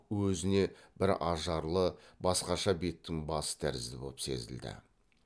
өзіне бір ажарлы басқаша беттің басы тәрізді боп сезілді